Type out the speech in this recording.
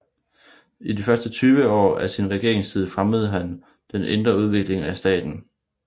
I de første 20 år af sin regeringstid fremmede han den indre udvikling af staten